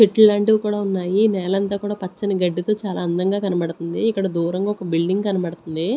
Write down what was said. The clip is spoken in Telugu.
చెట్లు లాంటివి కూడా ఉన్నాయి నేలంతా కూడా పచ్చని గడ్డితో చాలా అందంగా కనబడుతుంది ఇక్కడ దూరంగా ఒక బిల్డింగ్ కనబడుతుంది.